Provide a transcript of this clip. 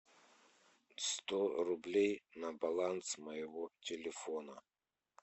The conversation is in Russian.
сто рублей на баланс моего телефона